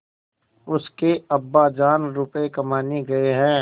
उसके अब्बाजान रुपये कमाने गए हैं